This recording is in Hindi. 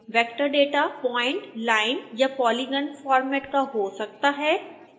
vector data प्वाइंट लाइन या पॉलीगन फॉर्मेट का हो सकता है